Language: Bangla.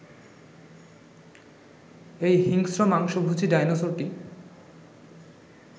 এই হিংস্র মাংসভোজী ডাইনোসরটি